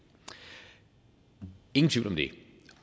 ingen tvivl om det